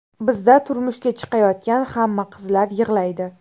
Bizda turmushga chiqayotgan hamma qizlar yig‘laydi.